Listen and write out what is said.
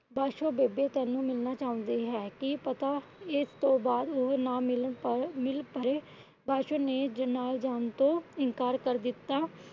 ਪਾਸ਼ੋ ਬੇਬੇ ਤੈਨੂੰ ਮਿਲਣਾ ਚੁਹੰਦੀ ਹੈ। ਕਿ ਪਤਾ ਇਸ ਤੋਂ ਬਾਅਦ ਉਹ ਨਾ ਮਿਲ ਪਾਏ ਨਾ ਮਿਲ ਪਾਏ। ਪਾਸ਼ੋ ਨੇ ਨਾਲ ਜਾਣ ਤੋਂ ਇਨਕਾਰ ਕਰ ਦਿੱਤਾ।